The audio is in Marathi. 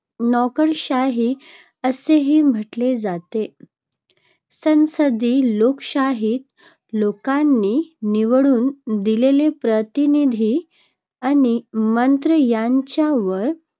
नोकरशाही असेही म्हटले जाते. संसदीय लोकशाहीत लोकांनी निवडून दिलेले प्रतिनिधी आणि मंत्री यांच्यावर